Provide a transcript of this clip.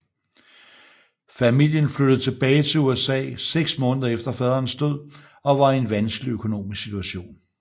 Familien flyttede tilbage til USA 6 måneder efter faderens død og var i en vanskelig økonomisk situation